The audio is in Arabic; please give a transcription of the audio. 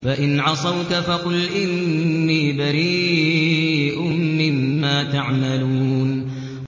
فَإِنْ عَصَوْكَ فَقُلْ إِنِّي بَرِيءٌ مِّمَّا تَعْمَلُونَ